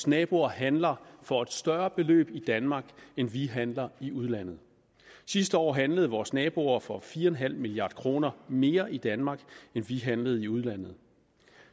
naboer handler for et større beløb i danmark end vi handler i udlandet sidste år handlede vores naboer for fire en halv milliard kroner mere i danmark end vi handlede for i udlandet